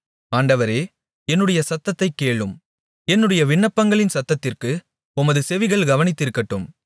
ஆண்டவரே என்னுடைய சத்தத்தைக் கேளும் என்னுடைய விண்ணப்பங்களின் சத்தத்திற்கு உமது செவிகள் கவனித்திருக்கட்டும்